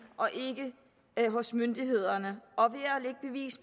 og ikke hos myndighederne